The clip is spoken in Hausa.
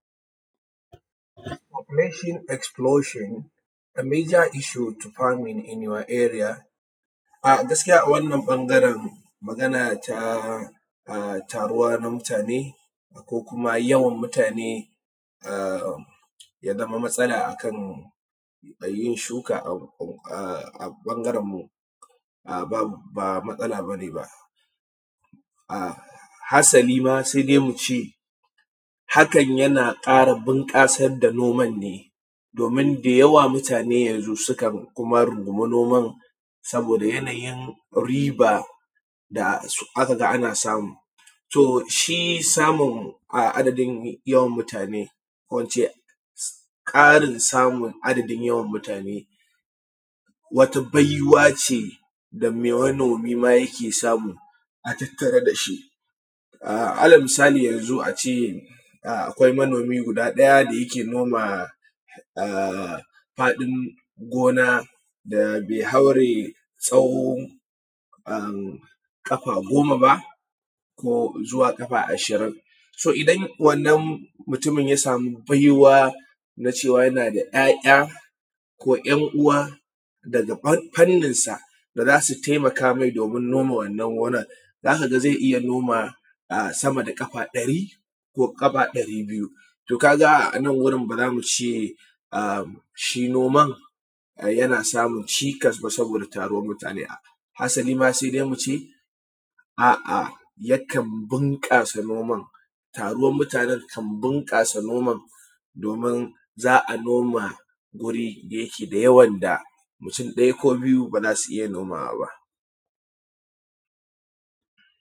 Population exploration a meter issue to fine in your area. Gaskiya a wannan ɓangaren za ka ga ta riwa na mutane ko kuma yawan mutane ya zama matsala akan yin shuka a ɓangarenmu ba matsala ba ne ba, hasali ma sai dai mu ce hakan yana ƙara bunƙasar da noman ne domin da yawa mutane yanzu sukan rungume noma saboda yanayin riba da aka ga ana samu. To, shi samun adadin mutane ko in ce ƙarin samun adadin mutane wata baiwa ce da manomi ma yake samu a tattare da shi ala misali yanzu a ce akwai manomi gudaɗaya da yake noma faɗin gona da yake haure tsawo ƙafa goma ba ko zuwa ƙafa ashirin so idan wannan mutumin ya sama bai wa na cewa yanda ‘ya’ya ko ‘yan uwa daga fanninsa da za su taimaka me domin noma, wannan gonan za ka ga zai iya noma sama da ƙafa ɗari ko ƙafa ɗari biyu. To, ka ga a nan wurin ba za mu ce shi noman yana samun cikas ba saboda taruwan mutane, asali ma sai dai mu ce a’a yakan ɓunƙasa noman. Taruwan mutanen kan bunƙasa noman domin za a noma wuri da yake da yawan da mutun ɗaya ko biyu ba za su iya nomawa ba.